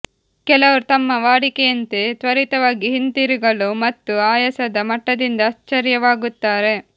ಕೆಲವರು ತಮ್ಮ ವಾಡಿಕೆಯಂತೆ ತ್ವರಿತವಾಗಿ ಹಿಂತಿರುಗಲು ಮತ್ತು ಆಯಾಸದ ಮಟ್ಟದಿಂದ ಆಶ್ಚರ್ಯವಾಗುತ್ತಾರೆ